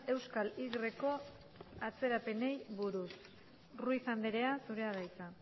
euskal yko atzerapenei buruz ruiz andrea zurea da hitza